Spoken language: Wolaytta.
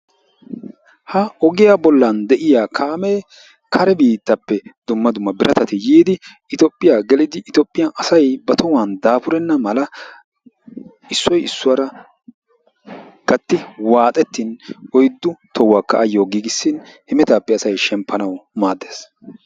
ha ogiyaa bollan de'iiyaa kaame kare biittappe yiya dumma dumma birattati yiidi Itoophiyaa gelidi Itoophiyaanasay ba tohuwa issoy issuwaara gattidi waaxxetin oyddu tohuwakka ayyo giigissin hemettappe asay shemppanaw maaddees.